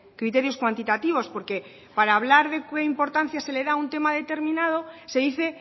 criterios cuantitativos porque para hablar de qué importancia se le da a un tema determinado se dice